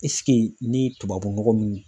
ni tubabunɔgɔ min